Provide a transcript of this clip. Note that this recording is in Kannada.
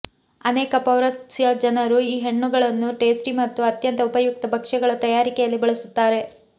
ಅನೇಕ ಪೌರಸ್ತ್ಯ ಜನರು ಈ ಹಣ್ಣುಗಳನ್ನು ಟೇಸ್ಟಿ ಮತ್ತು ಅತ್ಯಂತ ಉಪಯುಕ್ತ ಭಕ್ಷ್ಯಗಳ ತಯಾರಿಕೆಯಲ್ಲಿ ಬಳಸುತ್ತಾರೆ